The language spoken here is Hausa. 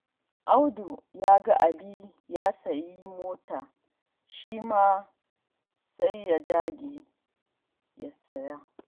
Audu ya ga Ali ya sayo mota, shi ma ya dage sai ya saya.